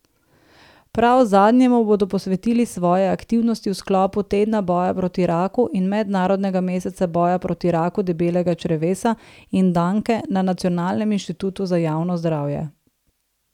Prav zadnjemu bodo posvetili svoje aktivnosti v sklopu tedna boja proti raku in mednarodnega meseca boja proti raku debelega črevesa in danke na Nacionalnem inštitutu za javno zdravje.